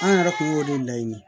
An yɛrɛ kun y'o de laɲini